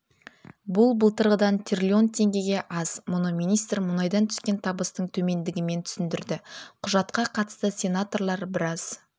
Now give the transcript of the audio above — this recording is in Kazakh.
бұл былтырғыдан трлн теңгеге аз мұны министр мұнайдан түскен табыстың төмендігімен түсіндірді құжатқа қатысты сенаторлар біраз